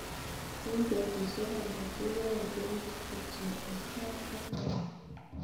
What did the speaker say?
'Eng' betusiek alak kiyaee pek kityo, asaa ak aru.''